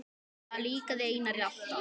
Það líkaði Einari alltaf.